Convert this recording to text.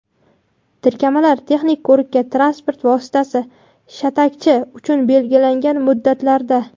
tirkamalar texnik ko‘rikka transport vositasi – shatakchi uchun belgilangan muddatlarda;.